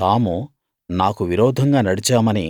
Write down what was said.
తాము నాకు విరోధంగా నడిచామని